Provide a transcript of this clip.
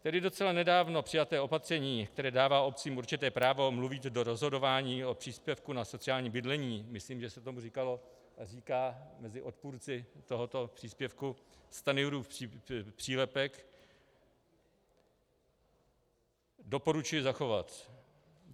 Tedy docela nedávno přijaté opatření, které dává obcím určité právo mluvit do rozhodování o příspěvku na sociální bydlení, myslím, že se tomu říkalo a říká mezi odpůrci tohoto příspěvku Stanjurův přílepek, doporučuji zachovat.